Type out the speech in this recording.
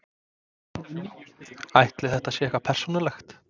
Ætli þetta sé eitthvað persónulegt?